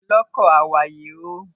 Ọlọ́kọ̀, àwàyè o